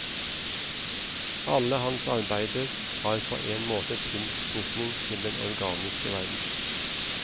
Alle hans arbeider har på en måte tilknytning til den organiske verden.